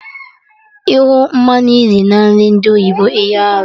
Ịhụ mmanụ nri na nri ndi oyibo hịa arụ